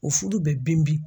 O fudu bɛ bin bin